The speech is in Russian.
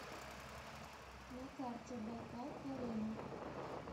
на карте байкал арена